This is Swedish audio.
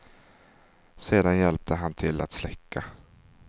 Sedan hjälpte han till att släcka.